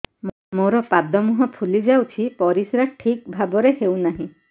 ମୋର ପାଦ ମୁହଁ ଫୁଲି ଯାଉଛି ପରିସ୍ରା ଠିକ୍ ଭାବରେ ହେଉନାହିଁ